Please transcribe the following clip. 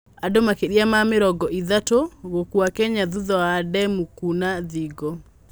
Andũ makĩria ma mirongo ithatu gũkua Kenya thutha wa demũ kũna thingo